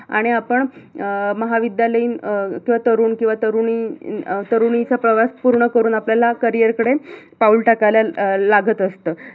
आणि आपण अं महाविद्यालयीन अं किवा तरुण किवा तरुणी अं तरुणीचा प्रवास पूर्ण करून आपल्याला career कडे पाऊल टाकायला लागत असत.